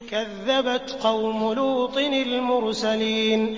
كَذَّبَتْ قَوْمُ لُوطٍ الْمُرْسَلِينَ